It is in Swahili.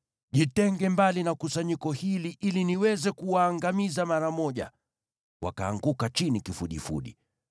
“Jitenge mbali na kusanyiko hili ili niweze kuwaangamiza mara moja.” Wakaanguka chini kifudifudi.